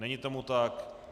Není tomu tak.